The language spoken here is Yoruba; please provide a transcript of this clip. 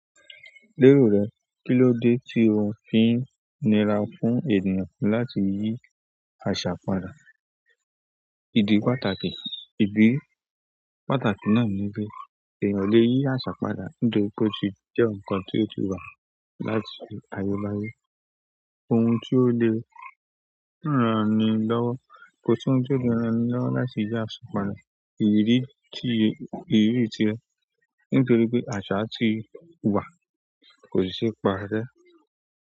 Lérò rẹ, kí ló dé tí o fi ń nira fún ènìyàn láti yí àṣà padà? Ìdí pàtàkì, ìdí pàtàkì náà ni pé èèyàn lè yí àṣà padà nítorí pé ó ti jẹ́ ǹkan tí ó ti wà láti ayé bá yé. Ohun tí ó le ràn ni lọ́wọ́, kò sí ohun tí ó le ràn ni lọ́wọ́ láti yí àṣà padà. Ìrírí ti, ìrírí ti ẹ, nítorí pé àṣà tí wà kò ṣi se parẹ.